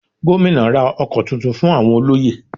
Gómìnà ra ọkọ̀ tuntun fún àwọn olóyè